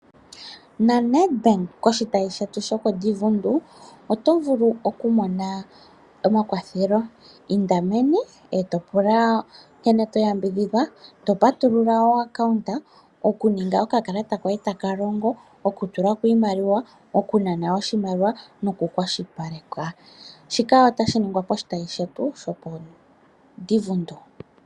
NaNedbank koshitayi shetu shokOdivundu otovulu okumona omakwathelo. Inda meni etopula nkene toyambidhidhwa etopatulula okambo okuninga okakalata koye taka longo, okutula ko iimaliwa, okunana oshimaliwa noku kwashilipalekwa. Shika otashi ningwa poshitayi shetu shopOdivundu.